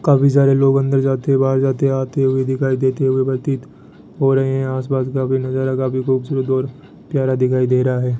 काफी सारे लोग अंदर जाते बाहर जाते आते हुए दिखाई देते हुए प्रतीत हो रहे हैं आसपास का भी नजारा काफी खूबसूरत और प्यारा दिखाई दे रहा है।